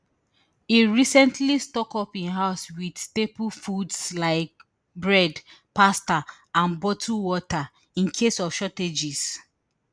e recently stock up im house wit staple foods like bread pasta and bottled water in case of shortages